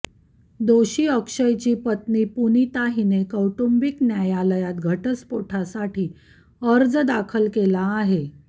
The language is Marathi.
दोषी अक्षयची पत्नी पुनिता हिने कौटुंबीक न्यायालयात घटस्फोटासाठी अर्ज दाखल केला आहे